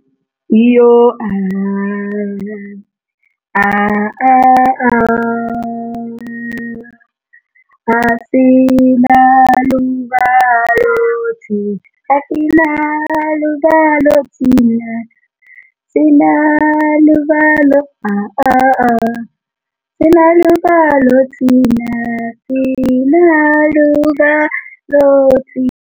Iyo ah ah ah ah asinalo uvalo thina, asinalo uvalo thina, asinalo uvalo thina ah ah ah asinalo uvalo thina, asinalo uvalo thina.